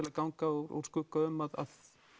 að ganga úr skugga um að